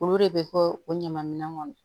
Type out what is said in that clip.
Olu de bɛ bɔ o ɲaman minɛn kɔnɔ